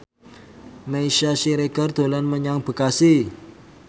Meisya Siregar dolan menyang Bekasi